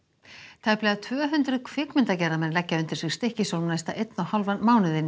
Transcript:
tæplega tvö hundruð kvikmyndagerðarmenn leggja undir sig Stykkishólm næsta einn og hálfan mánuð